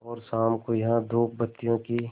और शाम को यहाँ धूपबत्तियों की